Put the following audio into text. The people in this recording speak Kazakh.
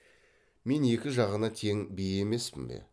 мен екі жағына тең би емеспін бе